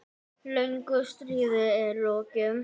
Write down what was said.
Löngu stríði er lokið.